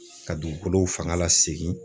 Ka dugukolo fanga lasegin